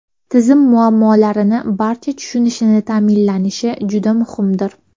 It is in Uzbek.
Tizim muammolarni barcha tushunishini ta’minlashi juda muhimdir.